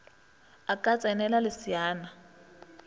a ka ts enela leseana